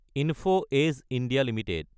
info Edge (India) Ltd